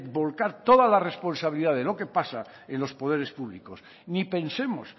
volcar toda la responsabilidad de lo que pasa en los poderes públicos ni pensemos